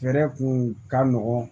Fɛɛrɛ kun ka nɔgɔn